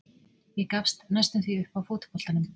Ég gafst næstum því upp á fótboltanum.